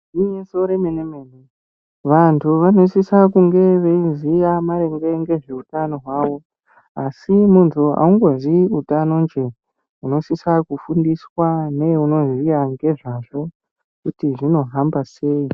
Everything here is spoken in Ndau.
Igwinyiso re mene mene vantu vano sisa kunge veyi ziya maererano ngezve utano hwawo asi muntu angoziyi utanozve tino sisa kufundiswa ngeano ziya nge zvazvo kuti huno hamba sei.